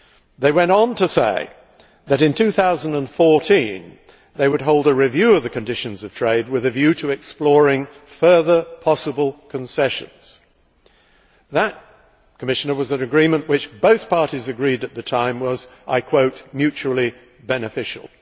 They went on to say that in 2014 they would hold a review of the conditions of trade with a view to exploring further possible concessions. That was an agreement, Commissioner and both parties agreed at the time which was mutually beneficial'.